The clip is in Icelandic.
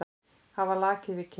Hafa lakið við kinn.